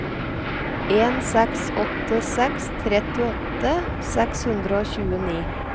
en seks åtte seks trettiåtte seks hundre og tjueni